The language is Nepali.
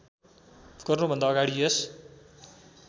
गर्नुभन्दा अगाडि यस